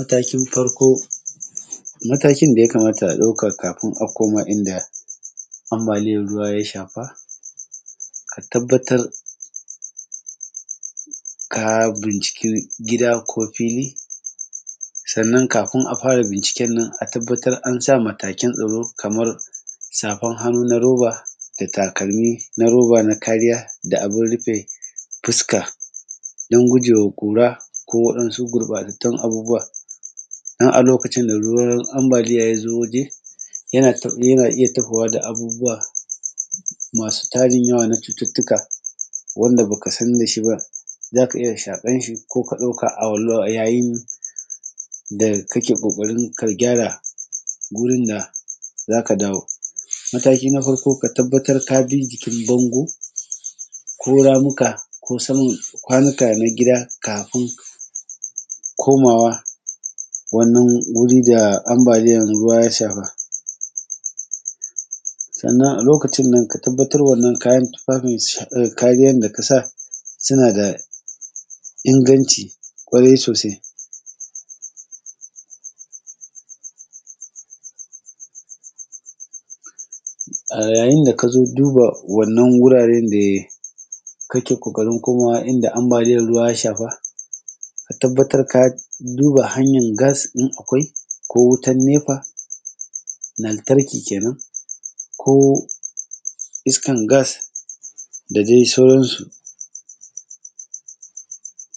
Mataki na farko, matakin da ya kamata a ɗauka kafin akoma inda ambaliyar ruwa ya shafa, a tabbatar ka bincike gida ko fili sannan kafun a fara binciken nan a tabbatar an sa matakin tsaro kaman safan hannu na roba da takalmin na roba na kariya da abun rufe fuska, dan gudun gujewa kura ko waɗansu gurbatattun abubuwa a lokacin da ruwan ambaliya ya zo waje yana iya tawowa da abubuwa masu tarin yawa na cututtuka wanda ba ka san da shi ba, za ka iya shaƙan shi ko ka ɗauka a yayin da kake ƙoƙarin ka gyara wurin nan za ka dawo mataki na biyu kuma ka tabbatar ka bi jikin bango ko ramuka, hak ko saman kwanuka na gida kafun komawa wannan wuri da ambaliyar ruwa ya sama. Sannan a lokacin nan ka tabbatar wannan kayan tufafin, kayan da kasa suna da inganci kware sosai a yayin da aka zo duba wannan wuraren da kake ƙoƙarin komawa inda ambaliyar ruwa ya shafa. Ka tabbatar ka duba hanyan gas in akwai ko wutan nepa lantarki kenan ko iskan gas da dai sauransu,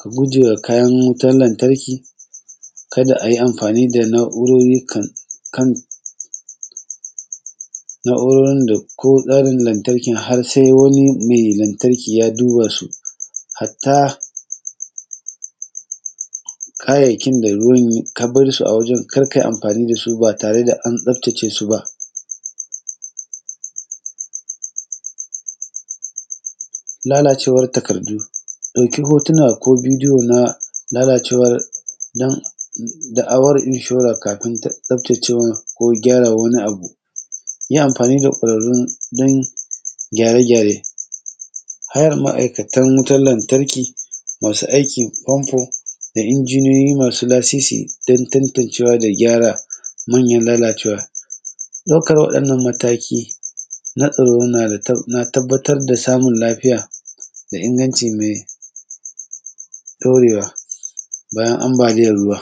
a gujewa kayan wutar lantarki ka da a yi amfani da na’urori kan na’urorin da ko wutar lantarkin har sai wani mai lantarki ya duba su, hatta kayayyakin da ruwan ka bar su wajen kar kai amfani da su ba tare da an tsaftace su ba. Lalacewar takardu, ɗauki hotun ko bidiyo na lalacewar takardu dan da’awar inshura kafun ta tsaftace ma ko gyara wani abu, yi amfani da kwararu dan gyare-gyare, hayan ma’aikatan wutan lantarki, masu aikin famfo da injiniyoyi masu lasisi dan tantancewa da gyara manyan lalacewe, ɗaukar waɗannan mataki na tsaro na da tabbatar da samun lafiya da inganci mai ɗaurewa bayan ambaliyar ruwa.